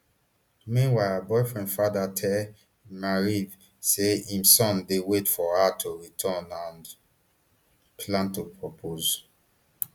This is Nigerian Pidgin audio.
meanwhile her boyfriend father tell maariv say im son dey wait for her to return and plan to propose